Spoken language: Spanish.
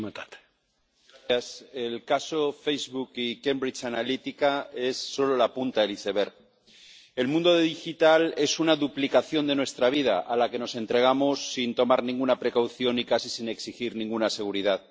Señor presidente, el caso Facebook y Cambridge Analytica es solo la punta del iceberg. El mundo digital es una duplicación de nuestra vida a la que nos entregamos sin tomar ninguna precaución y casi sin exigir ninguna seguridad.